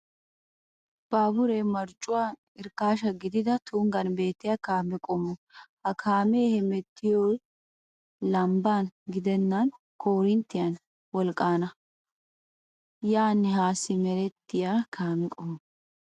Baabure marccuwan irkkaasha gidida tunggan beettiya kaame qommo. Ha kaamee hamettiyoy lambban gidennan koorinttiya wolqqan yaanne haa simerettiya kaame qommo.